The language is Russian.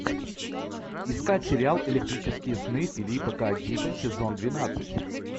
искать сериал электрические сны филипа к дика сезон двенадцать